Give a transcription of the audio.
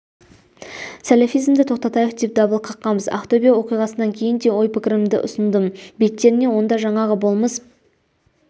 сәләфизмді тоқтатайық деп дабыл қаққанбыз ақтөбе оқиғасынан кейін де ой-пікірімді ұсындым беттеріне онда жаңағы болмыс